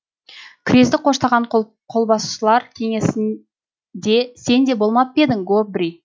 крезді қоштаған қолбасылар кеңесінде сен де болмап па едің гобрий